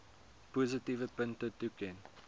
positiewe punte toeken